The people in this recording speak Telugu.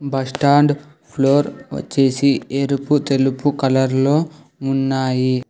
బస్టాండ్ ఫ్లోర్ వచ్చేసి ఎరుపు తెలుపు కలర్ లో ఉన్నాయి.